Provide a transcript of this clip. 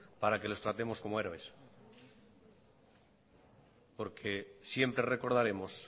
para que los tratemos como héroes porque siempre recordaremos